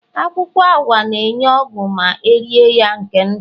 Akwukwo AWA na-enye ogwu ma erie ya nke ndu